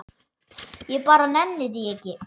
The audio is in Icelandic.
Ég bara nenni því ekki.